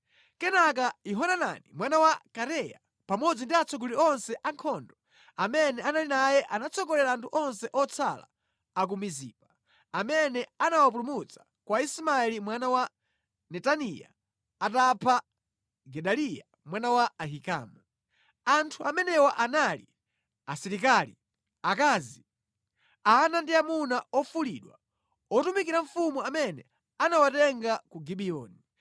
Kenaka Yohanani mwana wa Kareya pamodzi ndi atsogoleri onse a ankhondo amene anali naye anatsogolera anthu onse otsala a ku Mizipa amene anawapulumutsa kwa Ismaeli mwana wa Netaniya atapha Gedaliya mwana wa Ahikamu. Anthu amenewa anali: asilikali, akazi, ana ndi amuna ofulidwa otumikira mfumu amene anawatenga ku Gibiyoni.